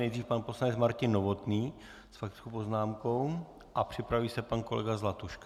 Nejdřív pan poslanec Martin Novotný s faktickou poznámkou a připraví se pan kolega Zlatuška.